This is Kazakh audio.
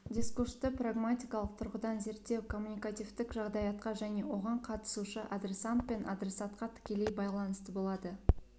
дискурсты прагматикалық тұрғыдан зерттеу коммуникативтік жағдаятқа және оған қатысушы адресант пен адресатқа тікелей байланысты болады